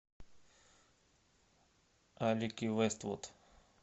алики вэствуд